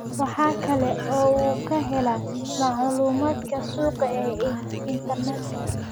Waxa kale oo uu ka helaa macluumaadka suuqa ee internetka.